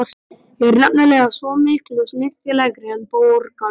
Ég er nefnilega svo miklu snyrtilegri en borgarbúar.